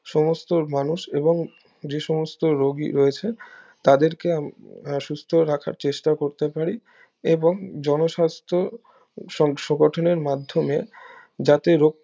সমস্ত মানুষ এবং যে সমস্ত রুগী রয়েছে তাদেরকে আমরা সুস্থ রাখার চেষ্টা করতে পারি এবং জনস্বাস্থ সংশো গঠনের মাধ্যমে যাতে